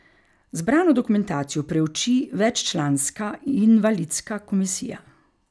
Zbrano dokumentacijo preuči veččlanska invalidska komisija.